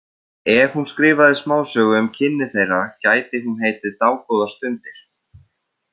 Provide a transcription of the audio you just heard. Ef hún skrifaði smásögu um kynni þeirra gæti hún heitið Dágóðar stundir.